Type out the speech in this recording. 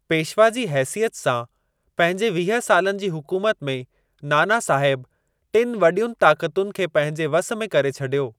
पेशवा जी हैसियत सां पंहिंजे वीह सालनि जी हुकूमत में नाना साहिब टिनि वॾियुनि ताक़तुनि खे पंहिंजे वस में करे छॾियो।